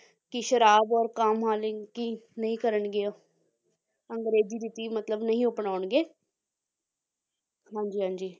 ਕਿ ਸ਼ਰਾਬ ਔਰ ਕਾਮ ਨਹੀਂ ਕਰਨਗੇ ਉਹ ਅੰਗਰੇਜ਼ੀ ਰੀਤੀ ਮਤਲਬ ਨਹੀਂ ਅਪਨਾਉਣਗੇ ਹਾਂਜੀ ਹਾਂਜੀ